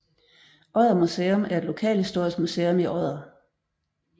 Odder Museum er et lokalhistorisk museum i Odder